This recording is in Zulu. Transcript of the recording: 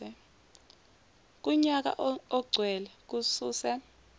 kunyaka ogcwele ususe